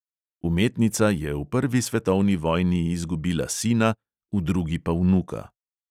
Umetnica je v prvi svetovni vojni izgubila sina, v drugi pa vnuka.